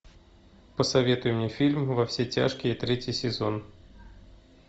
посоветуй мне фильм во все тяжкие третий сезон